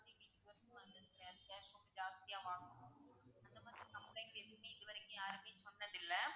ஜாஸ்தியா வாங்குறோம் அந்த மாதிரி complaint எதுமே இதுவரைக்கும் யாருமே சொன்னது இல்ல.